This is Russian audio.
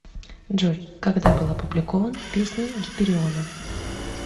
джой когда был опубликован песни гипериона